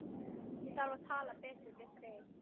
Ég þarf að tala betur við þig.